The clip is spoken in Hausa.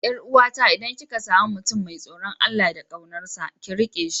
Yar uwata idan kika sami mutum mai tsoron Allah da kaunarsa, ki rike shi.